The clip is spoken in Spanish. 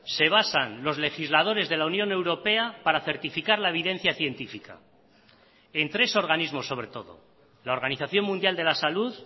se basan los legisladores de la unión europea para certificar la evidencia científica en tres organismos sobre todo la organización mundial de la salud